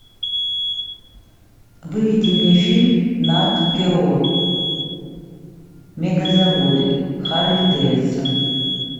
выведи мне фильм нат гео мегазаводы харлей дэвидсон